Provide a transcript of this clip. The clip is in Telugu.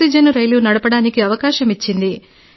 ఆక్సిజన్ రైలు నడపడానికి అవకాశం ఇచ్చింది